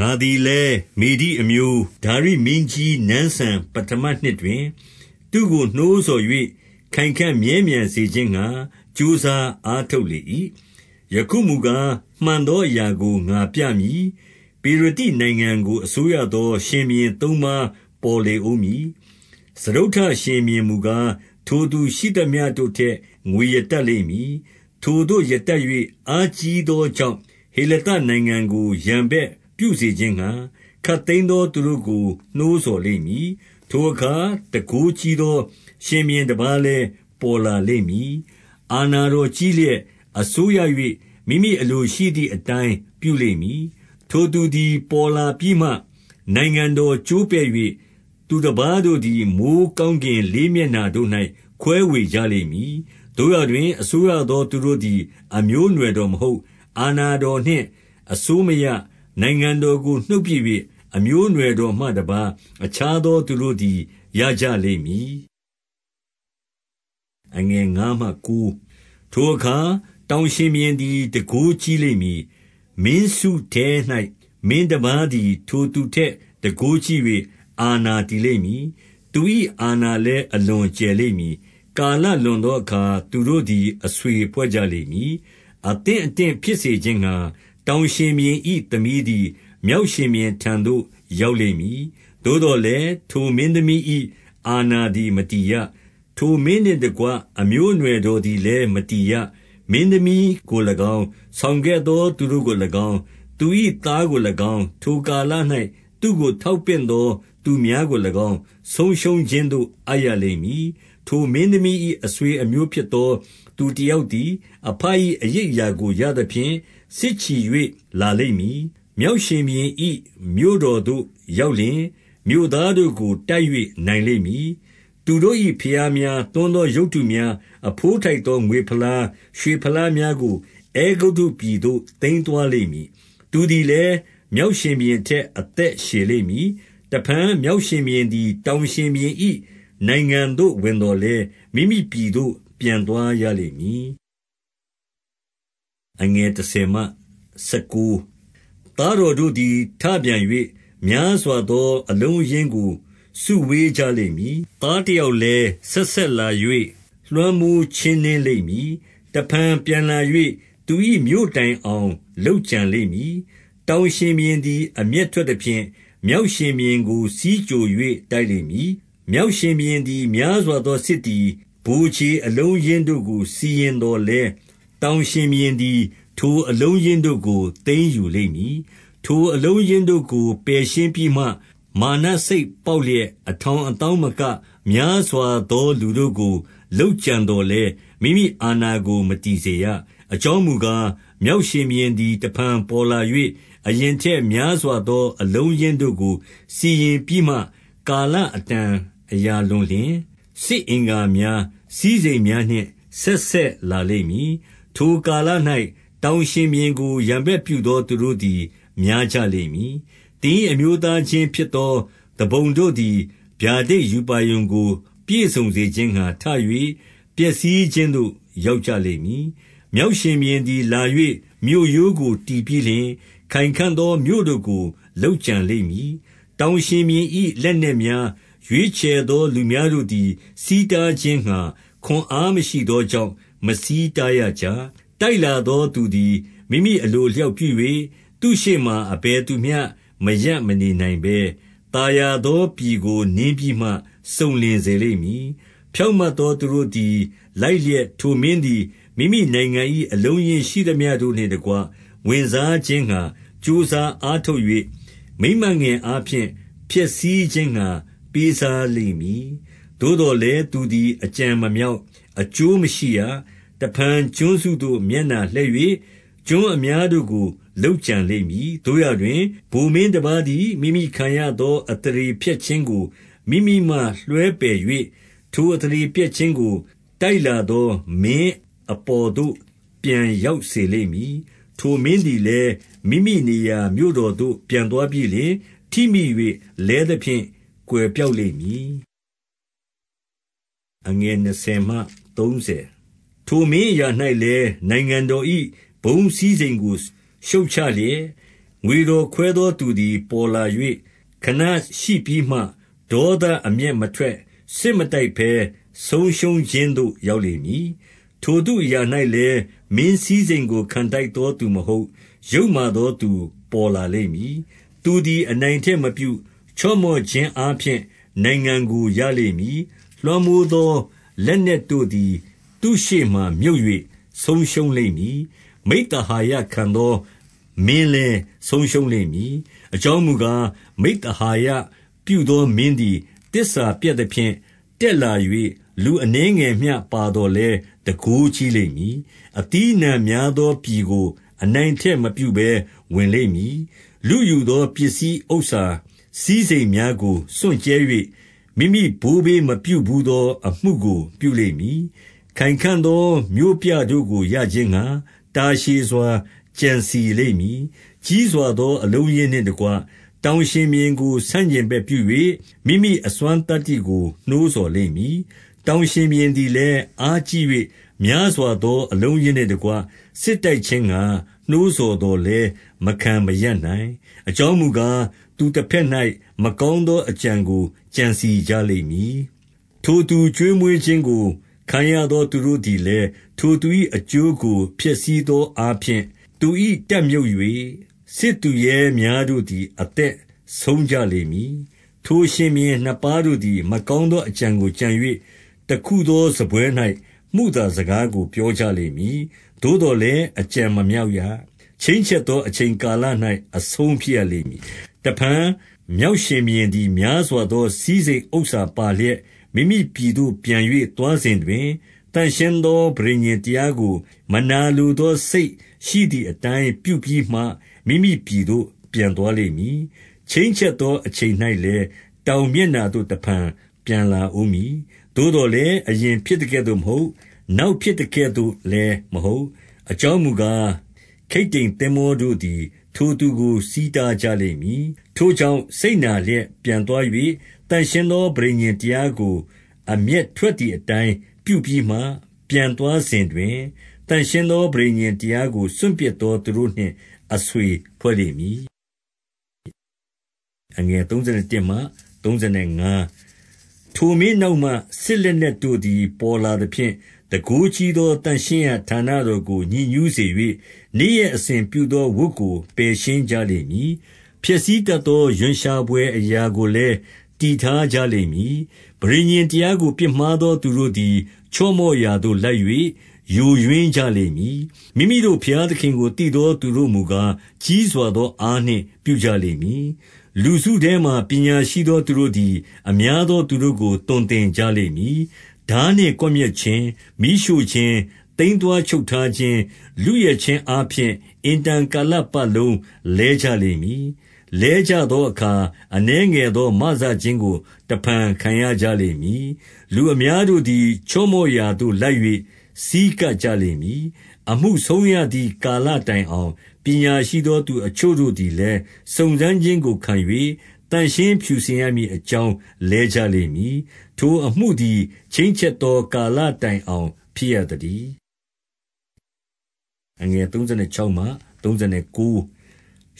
ငါသည်လည်း မေဒိအမျိုး ဒါရိမင်းကြီးနန်းစံ ပဌမနှစ်တွင် သူ့ကို နှိုးဆော်၍ ခိုင်ခံ့မြဲမြံစေခြင်းငှါ ကြိုးစားအားထုတ်လေ၏။ 2 ယခုမူကား၊ မှန်သောအရာကိုငါပြမည်။ ပေရသိ နိုင်ငံကို အစိုးရသော ရှင်ဘုရင် သုံးပါးပေါ် လေဦးမည်။ စတုတ္ထရှင်ဘုရားမူကား၊ ထိုသူ ရှိသမျှတို့ထက် ငွေရတတ်လိမ့်မည်။ ထိုသို့ရတတ်၍ အားကြီးသောကြောင့်၊ ဟေလသနိုင်ငံကို ရန်ဘက်ပြုစေ ခြင်းငှါ၊ ခပ်သိမ်းသော သူတို့ကို နှိုးဆော်လိမ့်မည်။ 3 ထိုအခါ တန်ခိုးကြီးသော ရှင်ဘုရင်တပါးလည်း ပေါ်လာလိမ့်မည်။ အာဏာတော်ကြီးလျက် အစိုးရ၍ မိမိအလိုရှိသည်အတိုင်း ပြုလိမ့်မည်။ 4 ထိုသူသည် ပေါ်လာပြီးမှ နိုင်ငံတော်ကျိုးပဲ့၍ သူတပါးတို့သည် မိုဃ်းကောင်းကင်လေးမျက်နှာတို့၌ ခွဲဝေ ကြလိမ့်မည်။ သို့ရာတွင် အစိုးရသော သူတို့သည် အမျိုးအနွယ်တော်မဟုတ်။ အာဏာတော်နှင့် အစိုးမရ နိုင်ငံတော်ကို နှုတ်ပစ်၍ အမျိုးအနွယ်တော်မှတပါး အခြားသော သူတို့သည် ရကြလိမ့်မည်။ 5 ထိုအခါ တောင်ရှင်ဘုရင်သည် တန်ခိုးကြီးလိမ့် မည်။ မင်းစုထဲ၌ မင်းတပါးသည် ထိုသူထက်တန်ခိုးကြီး၍ အာဏာတည်လိမ့်မည်။ သူ၏အာဏာလည်း အလွန် ကျယ်လိမ့်မည်။ 6 ကာလလွန်သောအခါ သူတို့သည် အဆွေဖွဲ့ကြ လိမ့်မည်။ အသင့်အတင့်ဖြစ်စေခြင်းငှါ တောင်ရှင်ဘုရင် ၏ သမီးသည် မြောက်ရှင်ဘုရင်ထံသို့ ရောက်လိမ့်မည်။ သို့သော်လည်း၊ ထိုမင်းသမီး၏ အာဏာသည် မတည်ရ။ ထိုမင်းနှင့်တကွ အမျိုးအနွယ်တော်သည်လည်း မတည်ရ။ မင်း သမီးကို၎င်း၊ ဆောင်ခဲ့သော သူတို့ကို၎င်း၊ သူ၏သား ကို၎င်း၊ ထိုကာလ၌ သူ့ကိုထောက်ပင့်သော သူများကို၎င်း ဆုံးရှုံးခြင်းသို့အပ်ရလိမ့်မည်။ 7 ထိုမင်းသမီး၏ အဆွေအမျိုးဖြစ်သော သူ တယောက်သည် အဘ၏ အရိပ်အရာကိုရသဖြင့် စစ်ချီ ၍ လာလိမ့်မည်။ မြောက်ရှင်ဘုရင်၏ မြို့တော်သို့ ရောက် လျှင်၊ မြို့သားတို့ကို တိုက်၍နိုင်လိမ့်မည်။ 8 သူတို့၏ဘုရားများ၊ သွန်းသောရုပ်တုများ၊ အဘိုး ထိုက်သောငွေဖလား၊ ရွှေဖလားများကို အဲဂုတ္တုပြည်သို့ သိမ်းသွားလိမ့်မည်။ သူသည်လည်း မြောက်ရှင်ဘုရင် ထက် အသက်ရှည်လိမ့်မည်။ 9 တဖန်မြောက်ရှင်ဘုရင်သည် တောင်ရှင်ဘုရင် ၏နိုင်ငံသို့ ဝင်သော်လည်း မိမိပြည်သို့ ပြန်သွားရလိမ့် မည်။ 10 သားတော်တို့သည် ထပြန်၍ များစွာသော အလုံးအရင်းကို စုဝေးကြလိမ့်မည်။ သားတယောက် လည်း ဆက်ဆက်လာ၍ လွှမ်းမိုးချင်းနင်းလိမ့်မည်။ တဖန် ပြန်လာ၍ သူ၏မြို့တိုင်အောင် လုပ်ကြံလိမ့်မည်။ 11 တောင်ရှင်ဘုရင်သည် အမျက်ထွက်သဖြင့်၊ မြောက်ရှင်ဘုရင်ကို ဆီးကြို၍ တိုက်လိမ့်မည်။ မြောက်ရှင် ဘုရင်သည် များစွာသော စစ်သည်ဗိုလ်ခြေအလုံးအရင်း တို့ကိုစီရင်သော်လည်း၊ တောင်ရှင်ဘုရင်သည် ထိုအလုံး အရင်းတို့ကို သိမ်းယူလိမ့်မည်။ 12 ထိုအလုံး အရင်းတို့ကို ပယ်ရှင်းပြီးမှ မာနစိတ်ပေါက်လျက်၊ အထောင်သောင်းမက များစွာသော လူတို့ကို လုပ်ကြံ သော်လည်း၊ မိမိအာဏာကို မတည်စေရ။ 13 အကြောင်းမူကား၊ မြောက်ရှင်ဘုရင်သည် တဖန် ပေါ်လာ၍၊ အရင်ထက်များစွာသောအလုံးအရင်း တို့ကို စီရင်ပြီးမှ ကာလအတန်အရာလွန်လျှင်၊ စစ်အင်္ဂါများ၊ စည်းစိမ်များနှင့် ဆက်ဆက်လာလိမ့်မည်။ 14 ထိုကာလ၌ တောင်ရှင်ဘုရင်ကို ရန်ဘက်ပြု သောသူတို့သည် များကြလိမ့်မည်။ သင်၏အမျိုးသားချင်း ဖြစ်သော သူပုန်တို့သည် ဗျာဒိတ်ရူပါရုံကို ပြည့်စုံစေခြင်း ငှါ ထ၍၊ ပျက်စီးခြင်းသို့ ရောက်ကြလိမ့်မည်။ 15 မြောက်ရှင်ဘုရင်သည် လာ၍ မြို့ရိုးကို တည် ပြီးလျှင် ခိုင်ခံ့သော မြို့တို့ကို လုပ်ကြံလိမ့်မည်။ တောင် ရှင်ဘုရင်၏ လက်နက်များ၊ ရွေးချယ်သောလူများတို့သည် ဆီးတားခြင်းငှါး ခွန်အားမရှိသောကြောင့် မဆီးတားရ ကြ။ 16 တိုက်လာသောသူသည် မိမိအလိုအလျောက် ပြု၍၊ သူ့ရှေ့မှာ အဘယ်သူမျှမရပ်မနေနိုင်ဘဲ၊ သာယာ သော ပြည်ကိုနင်းပြီးမှ စုံလင်စေလိမ့်မည်။ 17 ဖြောင့်မတ်သော သူတို့သည် လိုက်လျက် ထိုမင်း သည် မိမိနိုင်ငံ၏ အလုံးအရင်းရှိသမျှတို့နှင့်တကွ ဝင်စား ခြင်းငှါ ကြိုးစားအားထုတ်၍၊ မိန်းမငယ်အားဖြင့် ဖျက်ဆီး ခြင်းငှါပေးစားလိမ့်မည်။ သို့သော်လည်း သူသည် အကြံ မမြောက်၊ အကျိုးမရှိရ။ 18 တဖန်ကျွန်းစုသို့ မျက်နှာလှည့်၍ ကျွန်းအများ တို့ကို လုပ်ကြံလိမ့်မည်။ သို့ရာတွင်၊ ဗိုလ်မင်းတပါးသည် မိမိခံရသော အသရေဖျက်ခြင်းကို မိမိမှလွှဲပယ်၍၊ ထို အသရေဖျက်ခြင်းကို တိုက်လာသော မင်းအပေါ်သို့ ပြန်ရောက်စေလိမ့် မည်။ 19 ထိုမင်းသည်လည်း မိမိနေရာမြို့တော်သို့ ပြန် သွားပြီးလျှင် ထိမိ၍ လဲသဖြင့် ကွယ်ပျောက်လိမ့်မည်။ 20 ထိုမင်းအရာ၌လည်း နိုင်ငံတော်၏ ဘုန်းစည်း စိမ်ကို ရှုတ်ချလျက်၊ ငွေတော်ခွဲသော သူသည် ပေါ်လာ၍ ခဏရှိပြီးမှ၊ ဒေါသအမျက်မထွက်၊ စစ်မတိုက်ဘဲ ဆုံးရှုံး ခြင်းသို့ရောက်လိမ့်မည်။ 21 ထိုသူအရာ၌လည်း မင်းစည်းစိမ်းကို ခံထိုက် သော သူမဟုတ်၊ ယုတ်မာသော သူပေါ်လာလိမ့်မည်။ သူသည် အနိုင်အထက်မပြု ချော့မော့ခြင်းအားဖြင့် နိုင်ငံ ကို ရလိမ့်မည်။ 22 လွှမ်းမိုးသော လက်နက်တို့သည် သူရှေ့မှာ မြုပ်၍ ဆုံးရှုံးလိမ့်မည်။ မိဿဟာယခံသော မင်းလည်း ဆုံးရှုံး လိမ့်မည်။ 23 အကြောင်းမူကား၊ မိဿဟာယ ပြုသောမင်းသည် သစ္စာပျက်သဖြင့်၊ တက်လာ၍ လူအနည်းငယ်မျှ ပါသော် လည်း တန်ခိုးကြီးလိမ့်မည်။ 24 အသီးအနှံများသောပြည်ကို အနိုင်အထက် မပြုဘဲ ဝင်လိမ့်မည်။ လုယူသော ပစ္စည်းဥစ္စာစည်းစိမ် များကို စွန့်ကြဲ၍၊ မိမိဘိုးဘေးမပြုဘူးသော အမှုကိုပြုလိမ့် မည်။ ခိုင်ခံ့သော မြို့ပြတို့ကို ရခြင်းငှါ တာရှည်စွာ ကြံစည်လိမ့်မည်။ 25 ကြီးစွာသော အလုံးအရင်းနှင့်တကွ တောင်ရှင် ဘုရင်ကို ဆန့်ကျင်ဘက်ပြု၍၊ မိမိအစွမ်းသတ္တိကို နှိုးဆော် လိမ့်မည်။ တောင်ရှင်ဘုရင်သည်လည်း၊ အားကြီး၍ များစွာသော အလုံးအရင်းနှင့်တကွ စစ်တိုက်ခြင်းငှါ နှိုးဆော်သော်လည်း မခံရပ်နိုင်။ အကြောင်းမူကား၊ သူတဘက်၌ မကောင်းသောအကြံကို ကြံစည်ကြလိမ့် မည်။ 26 ထိုသူကျွေးမွေးခြင်းကို ခံရသော သူတို့သည် လည်း၊ ထိုသူ၏ အကျိုးကိုဖျက်ဆီးသောအားဖြင့်၊ သူ၏ တပ်မြှုပ်၍၊ စစ်သူရဲများတို့သည် အသက်ဆုံးကြလိမ့်မည်။ 27 ထိုရှင်ဘုရင် နှစ်ပါးတို့သည် မကောင်းသော အကြံကိုကြံ၍၊ တခုသောစားပွဲ၌ မုသာစကားကို ပြောကြလိမ့်မည်။ သို့သော်လည်း၊ အကြံမမြောက်ရ။ ချိန်းချက်သော အချိန် ကာလ၌ အဆုံးဖြစ်ရလိမ့်မည်။ 28 တဖန်မြောက်ရှင်ဘုရင်သည် များစွာသော စည်းစိမ်ဥစ္စာပါလျက် မိမိပြည်သို့ ပြန်၍သွားစဉ်တွင်၊ သန့်ရှင်းသော ပဋိညာဉ်တရားကို မနာလိုသောစိတ် ရှိသည်အတိုင်း ပြုပြီးမှ မိမိပြည်သို့ ပြန်သွားလိမ့်မည်။ 29 ချိန်းချက်သော အချိန်၌လည်း တောင်မျက်နှာသို့ တဖန်ပြန်လာဦးမည်။ သို့သော်လည်း၊ အရင်ဖြစ်သကဲ့သို့ မဟုတ်။ နောက်ဖြစ်သကဲ့သို့လည်းမဟုတ်။ 30 အကြောင်းမူကား ခိတ္တိမ်သင်္ဘောတို့သည် ထိုသူ ကို ဆီးတားကြလိမ့်မည်။ ထိုကြောင့် စိတ်နာလျက် ပြန် သွား၍ သန့်ရှင်းသော ပဋိညာဉ်တရားကို အမျက်ထွက် သည်။ အတိုင်းပြုပြီးမှ ပြန်သွားစဉ်တွင် သန့်ရှင်းသော ပဋိညာဉ်တရားကို စွန့်ပစ်သော သူတို့နှင့် အဆွေဖွဲ့လိမ့် မည်။ 31 ထိုမင်းနောက်မှ စစ်လက်နက်တို့သည် ပေါ်လာ သဖြင့်၊ တန်ခိုးကြီးသော သန့်ရှင်းရေးဌာနတော်ကို ညစ် ညူးစေ၍၊ နေ့ရက်အစဉ်ပြုသော ဝတ်ကို ပယ်ရှင်းကြ လိမ့်မည်။ ဖျက်ဆီးတတ်သောရွံ့ရှာဘွယ် အရာကိုလည်း တည်ထားကြလိမ့်မည်။ 32 ပဋိညာဉ်တရားကို ပြစ်မှားသော သူတို့သည် ချော့မော့ရာသို့ လိုက်၍ ယိုယွင်းကြလိမ့်မည်။ မိမိတို့ ဘုရားသခင်ကို သိသောသူတို့မူကား၊ ကြီးစွာသောအားနှင့် ပြုကြလိမ့်မည်။ 33 လူစုထဲမှာ ပညာရှိသော သူတို့သည် အများ သော သူတို့ကို သွန်သင်ကြရလိမ့်မည်။ ထားနှင့်ကွယ်မျက် ခြင်း၊ မီးရှို့ခြင်း၊ သိမ်းသွားချုပ်ထားခြင်း၊ လုယက်ခြင်း အားဖြင့် အင်တန်ကာလပတ်လုံး လဲကြလိမ့်မည်။ 34 လဲကြသောအခါ အနည်းငယ်သော မစခြင်းကို တဖန်ခံရကြလိမ့်မည်။ လူအများတို့သည် ချော့မော့ရာသို့ လိုက်၍ဆည်းကပ်ကြလိမ့်မည်။ 35 အမှုဆုံးရသည် ကာလတိုင်အောင်၊ ပညာရှိသောသူအချို့တို့သည်လည်း စုံစမ်းခြင်းကိုခံ၍၊ သန့်ရှင်းဖြူစင်ရမည် အကြောင်းလဲကြလိမ့်မည်။ ထိုအမှုသည် ချိန်းချက်သော ကာလတိုင်အောင် ဖြစ်ရသတည်း။ 36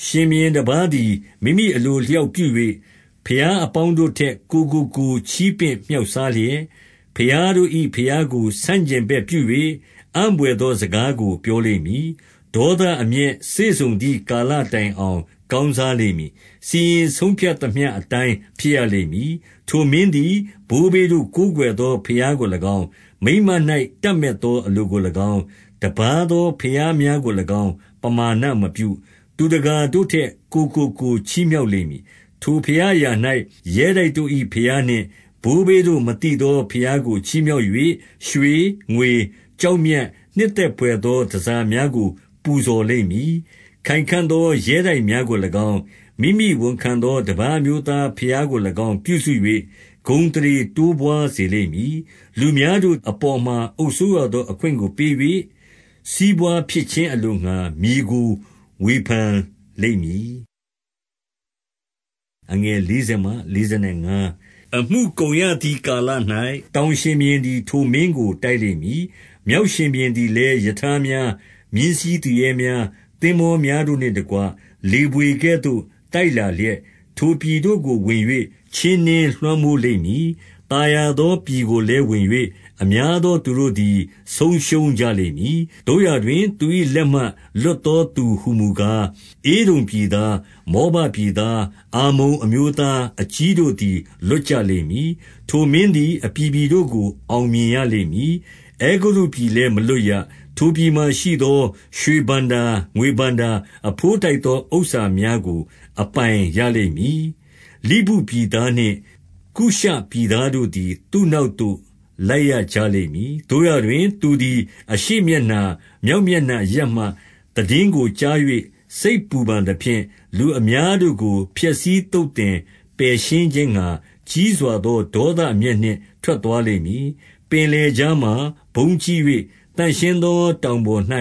ရှင်ဘုရင်တပါးသည် မိမိအလိုအလျောက်ပြု၍၊ ဘုရားအပေါင်းတို့ထက် ကိုယ်ကို ကိုယ်ချီးပင့်မြှောက်စား လျက်၊ ဘုရားတို့၏ဘုရားကို ဆန့်ကျင်ဘက်ပြု၍ အံ့ဘွယ် သောစကားကို ပြောလိမ့်မည်။ ဒေါသအမျက်စေ့စုံသည် ကာလတိုင်အောင် ကောင်းစားလိမ့်မည်။ စီရင်ဆုံးဖြတ် သမျှ အတိုင်းဖြစ်ရလိမ့်မည်။ 37 ထိုမင်းသည် ဘိုးဘေးတို့ ကိုးကွယ်သော ဘုရားကို၎င်း၊ မိန်းမ၌ တပ်မက်သောအလိုကို၎င်း၊ တပါးသော ဘုရားများကို၎င်း ပမာဏမပြု။ သူတကာတို့ထက် ကိုယ်ကို ကိုယ်ချီးမြှောက်လိမ့်မည်။ 38 ထိုဘုရားအရာ၌ ရဲတိုက်တို့၏ဘုရားနှင့်၊ ဘိုးဘေးတို့မသိသောဘုရားကိုချီးမြှောက်၍၊ ရွှေ၊ ငွေ၊ ကျောက်မြတ်၊ နှစ်သက်ဘွယ်သော တန်ဆာများကို ပူဇော်လိမ့်မည်။ 39 ခိုင်ခံ့သော ရဲတိုက်များကို၎င်း၊ မိမိဝန်ခံသောတပါးအမျိုးသားဘုရားကို၎င်း ပြုစု၍ ဂုဏ်အသရေ တိုးပွားစေလိမ့်မည်။ လူများတို့အပေါ်မှာအုပ်စိုးရသော အခွင့်ကိုပေး၍ စီးပွားဖြစ်ခြင်းအလိုငှါ မြေကို ဝေဖန်လိမ့် မည်။ 40 အမှုကုန်ရသည်ကာလ၌ တောင်ရှင်ဘုရင်သည် ထိုမင်းကို တိုက်လိမ့်မည်။ မြောက်ရှင်ဘုရင်သည်လည်း ရထားများ၊ မြင်းစီးသူရဲများ၊ သင်္ဘောများတို့နှင့်တကွ လေးဘွေကဲ့သို့ တိုက်လာလျက်၊ ထိုပြည်တို့ကို ဝင်၍ ချင်းနင်းလွှမ်းမိုးလိမ့်မည်။ 41 သာယာသောပြည်ကိုလည်းဝင်၍ အများသော သူတို့သည် ဆုံးရှုံးကြလိမ့်မည်။ သို့ရာတွင်၊ သူ၏ လက်မှ လွတ်သော သူဟူမူကား၊ ဧဒုံပြည်သား၊ မောဘပြည်သား၊ အမ္မုန်အမျိုးသားအကြီးတို့သည် လွတ်ကြလိမ့်မည်။ 42 ထိုမင်းသည် အပြည်ပြည်တို့ကို အောင်မြင်ရ လိမ့်မည်။ အဲဂုတ္တုပြည်လည်း မလွတ်ရ။ 43 ထိုပြည်မှာရှိသော ရွှေဘဏ္ဍာ၊ ငွေဘဏ္ဍာ၊ အဘိုးထိုက်သော ဥစ္စာများကို အပိုင်ရလိမ့်မည်။ လိဗုပြည် သားနှင့် ကုရှပြည်သားတို့သည် သူ့နောက်သို့ လိုက်ရကြလိမ့်မည်။ 44 သို့ရာတွင် သူသည် အရှေ့မျက်နှာ၊ မြောက်မျက်နှာအရပ်မှ သိတင်းကိုကြား၍ စိတ်ပူပန်သဖြင့်၊ လူ အများတို့ကို ဖျက်ဆီးသုတ်သင်ပယ်ရှင်းခြင်းငှါ၊ ကြီးစွာသော ဒေါသအမျက်နှင့် ထွက်သွားလိမ့်မည်။ 45 ပင်လယ်ကြားမှာ ဘုန်းကြီး၍ သန့်ရှင်းသော တောင်ပေါ်၌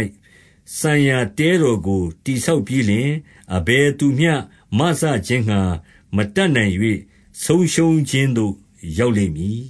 စံရာ တဲတော်ကို တည်ဆောက်ပြီးလျှင် အဘယ်သူမျှ မစခြင်းငှါ မတတ်နိုင်၍ ဆုံးရှုံးခြင်းသို့ ရောက်လိမ့်မည်။